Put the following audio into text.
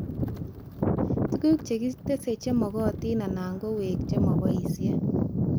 Tuguk chekites chemagatin anan kowek neboishee